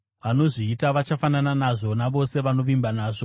Vanozviita vachafanana nazvo, navose vanovimba nazvo.